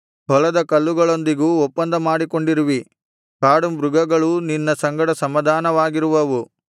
ಹೊಲದ ಕಲ್ಲುಗಳೊಂದಿಗೂ ಒಪ್ಪಂದ ಮಾಡಿಕೊಂಡಿರುವಿ ಕಾಡುಮೃಗಗಳೂ ನಿನ್ನ ಸಂಗಡ ಸಮಾಧಾನವಾಗಿರುವವು